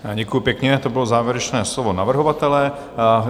Děkuji pěkně, to bylo závěrečné slovo navrhovatele.